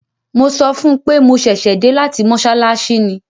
Mo sọ fún un pé mo ṣẹ̀ṣẹ̀ dé láti mọ́ṣáláṣí ni.